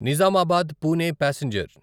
Nizamabad Pune passenger